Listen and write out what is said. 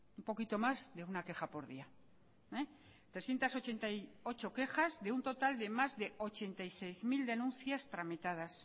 un poquito más de una queja por día trescientos ochenta y ocho quejas de un total de más de ochenta y seis mil denuncias tramitadas